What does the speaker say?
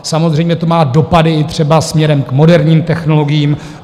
Samozřejmě to má dopady i třeba směrem k moderním technologiím.